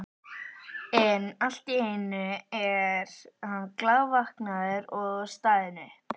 En allt í einu er hann glaðvaknaður og staðinn upp.